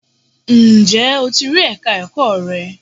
Ǹjẹ́ o ti rí Ẹ̀ka ẹ̀kọ́ rẹ?